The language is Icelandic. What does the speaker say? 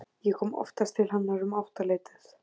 Ég kom oftast til hennar um áttaleytið.